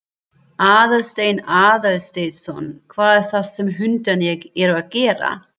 Aðalsteinn Aðalsteinsson: Hvað er það sem hundarnir eru að gera?